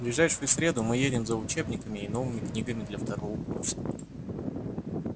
в ближайшую среду мы едем за учебниками и новыми книгами для второго курса